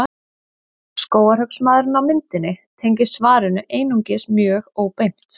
Skógarhöggsmaðurinn á myndinni tengist svarinu einungis mjög óbeint.